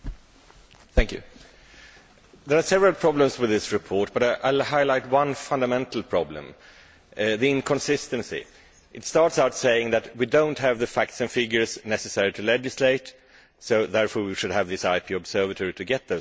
Mr President, there are several problems with this report, but I will highlight one fundamental problem inconsistency. It starts out by saying that we do not have the facts and figures necessary to legislate, so therefore we should have this IP Observatory to get those facts and figures.